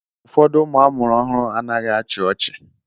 Ụfọdụ ụmụ amụrụ ọhụụ anaghị achị ọchị.